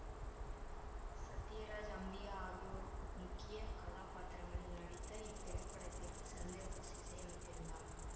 சத்யராஜ் அம்பிகா ஆகியோர் முக்கிய கதாபாத்திரங்களில் நடித்த இத்திரைப்படத்திற்கு சந்திரபோஸ் இசையமைத்திருந்தார்